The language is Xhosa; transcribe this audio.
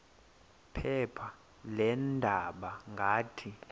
phepha leendaba ngathi